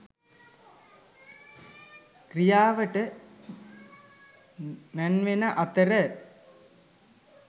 ක්‍රියාවට නැංවෙන අතර